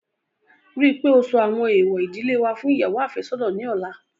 Rí i pé ó sọ àwọn èèwọ̀ ìdílé wa fún ìyàwó àfẹ́sọ́nà ní ọ̀la